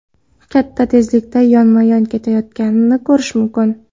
katta tezlikda yonma-yon ketayotganini ko‘rish mumkin.